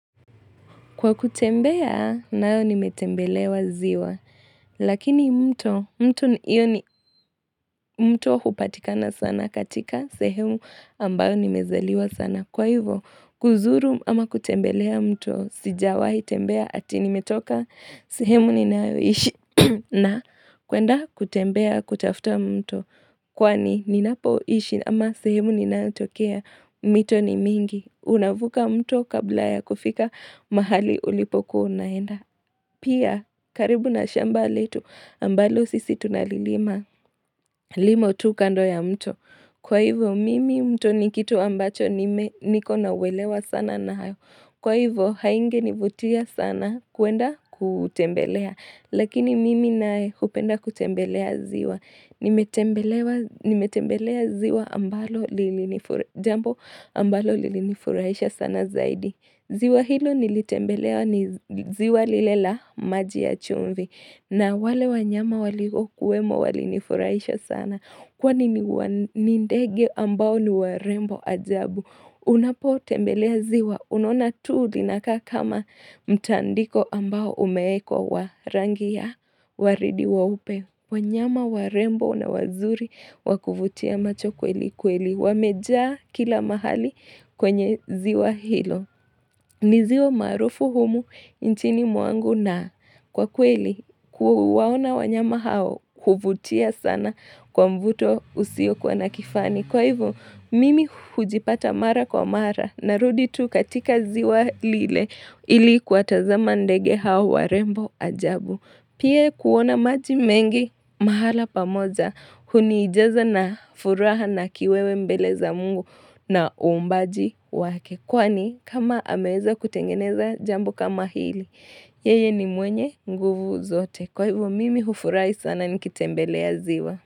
Kwa kutembea, nayo nimetembelea ziwa. Lakini mto, mto hupatikana sana katika sehemu ambayo nimezaliwa sana. Kwa hivyo, kuzuru ama kutembelea mto, sijawahi tembea ati nimetoka sehemu ninayo ishi na kuenda kutembea kutafuta mto. Kwani ninapo ishi ama sehemu ninayotokea, mito ni mingi. Unavuka mto kabla ya kufika mahali ulipokuwa unaenda. Pia, karibu na shamba letu, ambalo sisi tunalilima, limo tu kando ya mto. Kwa hivyo mimi mto nikitu ambacho niko na uwelewano sana nayo. Kwa hivyo haunge nivutia sana kwenda kuutembelea. Lakini mimi naye hupenda kutembelea ziwa. Nimetembelea ziwa ambalo jambo ambalo lilinifurahisha sana zaidi. Ziwa hilo nilitembelea ni ziwa lile la maji ya chumvi. Na wale wanyama waliokuwemo walini furaisha sana. Kwa ni ndege ambao ni warembo ajabu. Unapo tembelea ziwa. Unona tuu linakaa kama mtandiko ambao umewekwa wa rangi ya waridi weupe. Wanyama warembo na wazuri wakuvutia macho kweli kweli. Wamejaa kila mahali kwenye ziwa hilo. Ni ziwa maruufu humu nchini mwangu na kwa kweli kuwaona wanyama hao huvutia sana kwa mvuto usio kuwa nakifani. Kwa hivo mimi hujipata mara kwa mara na rudi tu katika ziwa lile ili kuwa tazama ndege hao warembo ajabu. Pia kuona maji mengi mahala pamoja hunijaza na furaha na kiwewe mbele za mungu na umbaji wake. Kwani kama ameweza kutengeneza jambo kama hili, yeye ni mwenye nguvu zote. Kwa hivyo mimi hufurahi sana nikitembelea ziwa.